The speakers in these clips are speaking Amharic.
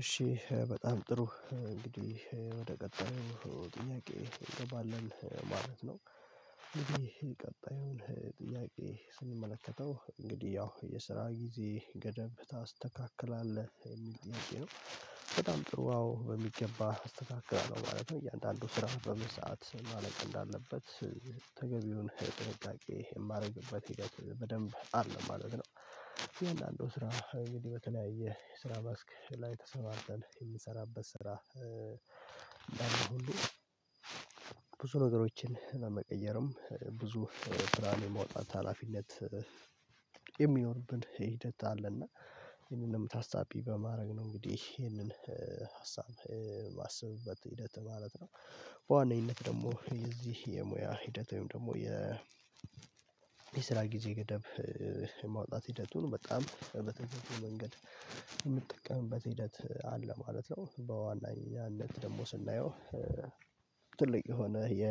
እሺ በጣም ጥሩ እንግዲህ ወደ ቀጣዩ ጥያቄ እንገባለለን ማለት ነው። እንግዲህ ቀጣዩን ጥያቄ ስንመለከተው እንግዲህ ያው የስራ ጊዜ ገደብ ታስተካክላለህ የሚል ጥያቄ ነው? በጣም ጥሩ አዎ በሚገባ አስተካክላለሁ ማለት ነው። እያንዳንዱ ስራ በምን ሰዓት ማለቅ እንዳለበት ተገቢውን ጥንቃቄ የማደርግበት ሂደት በደንብ አለ ማለት ነው። አያንዳንዱ ስራ እንግዲህ በተለያየ የስራ መስክ ላይ ተሰማርተን የምንሰራበት ስራ ብዙ ነገሮችን ለመቀየርም ብዙ ብርሃን የመውጣት ሀላፊነት የሚኖርብን ሂደት አለና። ይሄንን ነው ታሳቢ በማድረግ ነው እንግዲህ ይሄንን ሀሳብ የማስብበት ሂደት ማለት ነው። በዋነኝነት ደግሞ የዚህ የሙያ ሂደት ወይም ደግሞ የ የስራ ጊዜ ገደብ የማውጣት ሂደቱን በጣም በተገቢው መንገድ የምጠቀምበት ሂደት አለ ማለት ነው። በዋነ ኛነትደግሞ ስናየው ትልቅ የሆነ የ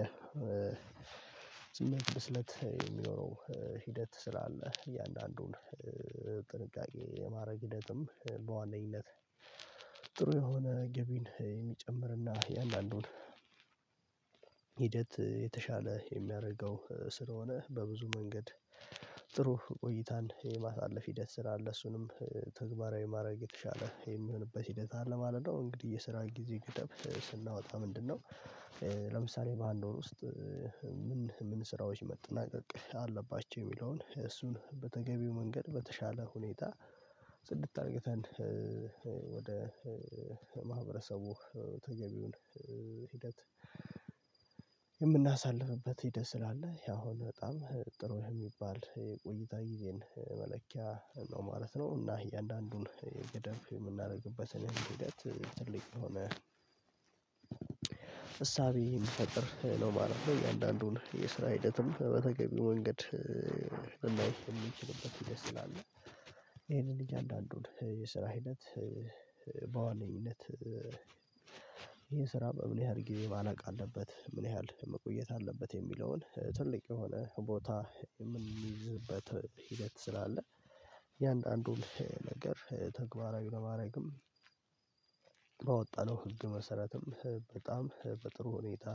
ስሜት ብስለት የሚኖረው ሂደት ስላለ እያንዳንዱን ጥንቃቄ የማድረግ ሂደትም በዋነኝነት ጥሩ የሆነ ገቢን የሚጨምርና የእያንዳንዱን ሂደት የተሻለ የሚያደርገው ስለሆነ በብዙ መንገድ ጥሩ ቆይታን የማሳለፍ ሂደት ስራ አለ። እሱንም ተግባራዊ ማድረግ የተሻለ የሚሆንበት ሂደት አለ ማለት ነው። እንግዲህ የስራ ጊዜ ገደብ ስናወጣ ምንድነው? ለምሳሌ በአንድ ወር ውስጥ ምን ምን ስራዎች መጠናቀቅ አለባቸው የሚለውን እሱን በተገቢው መንገድ በተሻለ ሁኔታ ጽድት አድርገን ወደ ማህበረሰቡ ተገቢውን ሂደት የምናሳልፍበት ሂደት ስላለ ይሄ አሁን በጣም ጥሩ የሚባል የቆይታ ጊዜን መለኪያ ነው ማለት ነው። እና እያንዳንዱን ገደብ የምናደርግበትን ሂደት ትልቅ ከሆነ እሳቤ የሚፈጥር ነው ማለትነው። እያንዳንዱን የስራ ሂደትም በተገቢው መንገድ ልናይ የምንችልበት ሂደት ስላለ ይሄንን እያንዳንዱን የስራ ሂደት በዋነኝነት ይሄን ስራ በምን ያህል ጊዜ ማለቅ አለበት ምን ያህል መቆየት አለበት የሚለውን ትልቅ የሆነ ቦታ የምንይዝበት ሂደት ስላለ። እያንዳንዱን ነገር ተግባራዊ ለማድረግም ባወጣነው ህግ መሰረትም በጣም በጥሩ ሁኔታ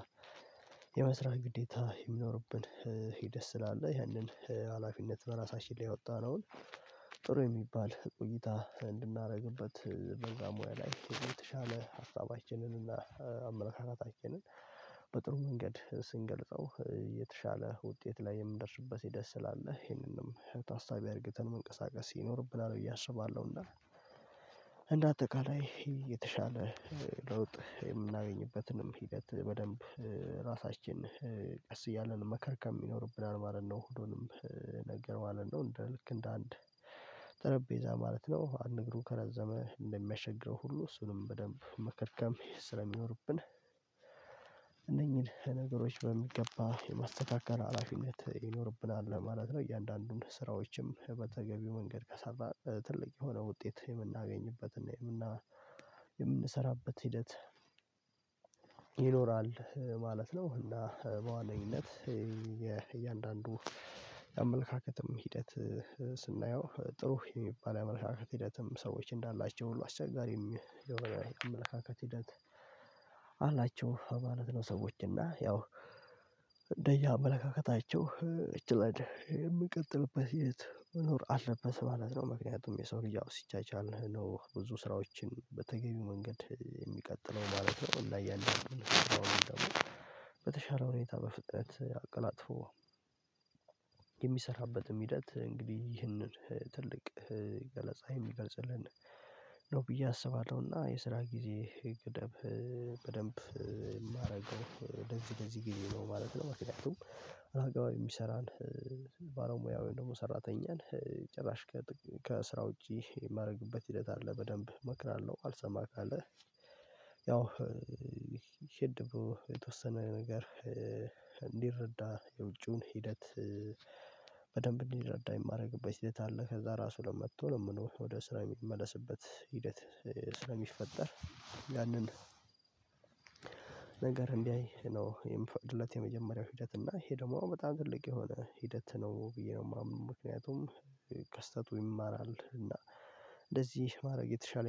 የመስራት ግዴታ የሚኖርብን ሂደት ስላለ ያንን ሀላፊነት በራሳችን ላይ ያወጣነውን ጥሩ የሚባል ቆይታ እንድናደርግበት በዛ ሙያ ላይ የተሻለ ሀሳባችንን እና አመለካከታችንን አኬንን በጥሩ መንገድ ስንገልጸው የተሻለ ውጤት ላይ የምንደርስበት ሂደት ስላለ ይሄንንም ታሳቢ አድርገን መንቀሳቀስ ይኖርብናል። ብዬ አስባለሁ እና እንደ አጠቃላይ የተሻለ ለውጥ የምናገኝበትንም ሂደት በደንብ ራሳችን ቀስ እያለን መከርከም ይኖርብናል ማለት ነው። ሁሉንም ነገር ማለት ነው እንደ ልክ እንደ አንድ ጠረጴዛ ማለት ነው አንድ እግሩ ከረዘመ እንደሚያስቸግረው ሁሉ እሱንም በደንብ መከርከም ስለሚኖርብን እነኚህን ነገሮች በሚገባ የማስተካከል ሀላፊነት ይኖርብናል ማለት ነው። እያንዳንዱን ስራዎችም በተገቢው መንገድ ከሰራህ ትልቅ የሆነ ውጤት የምናገኝበትና የምና የምንሰራበት ሂደት ይኖራል ማለት ነው። እና በዋነኝነት የእያንዳንዱ የአመለካከትም ሂደት ስናየው ጥሩ የሚባል የአመለካከት ሂደትም ሰዎች እንዳላቸው ሁሉ አስቸጋሪም የሆነ የአመለካከት ሂደት አላቸው ማለት ነው። ሰዎች እና ያው እንደየ አመለካከታቸው እችለድ የምቀጥልበት የት መኖር አለበት ማለት ነው። ምክንያቱም የሰው ልጅ ያው ሲቻቻል ነው ብዙ ስራዎችን በተገቢው መንገድ የሚቀጥለው ማለት ነው። እና ያንን ያለውንም ደግሞ በተሻለ ሁኔታ በፍጥነት አቀላጥፎ የሚሰራበትም ሂደት እንግዲህ ይህንን ትልቅ ገለጻ የሚገልጽልን ነው ብዬ አስባለሁ። እና የስራ ጊዜ ገደብ በደንብ የማደርገው ለዚ ለዚ ጊዜ ነው ማለት ነው ማለት ነው። ምክንያቱም አህጋዊ የሚሰራን ባለሙያን ወይም ደግሞ ሰራተኛን ጭራሽ ከጥ ከስራ ውጪ የማደርግበት ሂደት አለ በደንብ እመክራለሁ አልሰማ ካለ ያው ሄድብሎ የተወሰነ ነገር እንዲረዳ የውጪውን ሂደት በደንብ እንዲረዳ የማደርግበት ሂደት አለ። ከዛ ራሱ ለመጥቶ ለመኖ ወደ ስራ የሚመለስበት ሂደት ስለሚፈጠር ያንን ነገር እንዲያይ ነው የምፈቅድለት የመጀመሪያው ሂደት እና ይሄ ደግሞ በጣም ትልቅ የሆነ ሂደት ነው ብዬ ነው የማምን። ምክንያቱም ከስተቱ ይማራል እና እንደዚህ ማድረግ የተሻለ